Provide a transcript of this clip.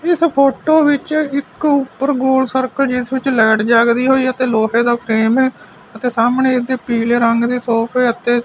ਇਸ ਫੋਟੋ ਵਿੱਚ ਇੱਕ ਉੱਪਰ ਗੋਲ ਸਰਕਲ ਜਿਸ ਵਿੱਚ ਲਾਈਟ ਜਗਦੀ ਹੋਈ ਅਤੇ ਲੋਹੇ ਦਾ ਫਰੇਮ ਐ ਅਤੇ ਸਾਹਮਣੇ ਇਹਦੇ ਪੀਲੇ ਰੰਗ ਦੇ ਸੋਫੇ ਅਤੇ--